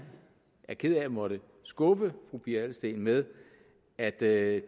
er ked af at måtte skuffe fru pia adelsteen med at det